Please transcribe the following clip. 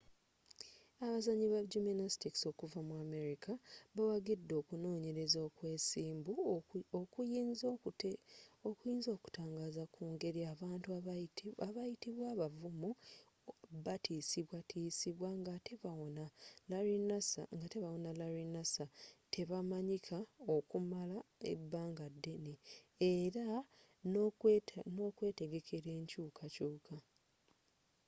abazanyi ba gymnastics okuvva mu amerika bawaggidde okunonyelezza okwobwesimbu okuyinza okutangazza ku ngeri abantu abayitibwa abavuumu batisibwatisibwa ng'atte bawona larry nassar tebamanyika okumala ebbangaddene era n'okwetegekela enkyukakyuka